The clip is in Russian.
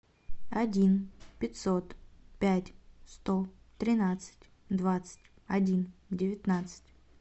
один пятьсот пять сто тринадцать двадцать один девятнадцать